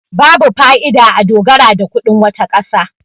babu fa'ida a dogara da kudin wata kasa